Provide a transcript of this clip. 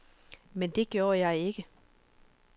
Men det gjorde jeg ikke.